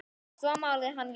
Svo málaði hann líka.